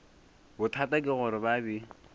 bothata ke gore ba be